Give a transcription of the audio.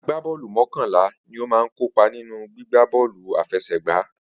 Agbá bọ́ọ̀lù mokanla ni ó máa ń kópa nínú gbígbá bọ́ọ̀lù àfẹsẹ̀gba